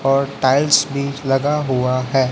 और टाइल्स भी लगा हुआ है।